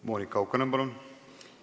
Monika Haukanõmm, palun!